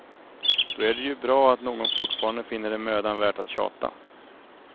Då är det ju bra att någon fortfarande finner det mödan värt att tjata.